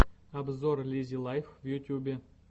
обзор лиззи лайф в ютьюбе